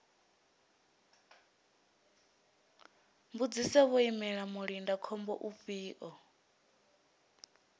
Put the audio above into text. mbudziso vho imela mulindakhombo ufhio